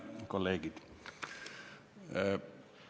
Head kolleegid!